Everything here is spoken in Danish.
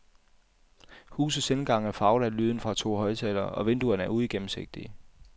Husets indgang er farvet af lyden fra to højttalere og vinduerne er uigennemsigtige.